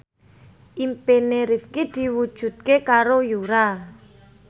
impine Rifqi diwujudke karo Yura